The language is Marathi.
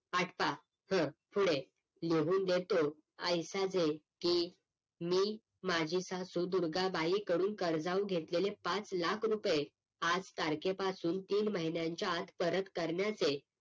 आटपा हं पुढे लिहून देतो की मी माझी सासू दुर्गा बाई कडून कर्जाऊ घेतलेले पाच लाख रुपये आज तारखे पासून तीन महिन्यांच्या आत परत करण्याचे